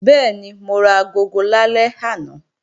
Bẹ́ẹ̀ni, mo ra agogo lálẹ́ àná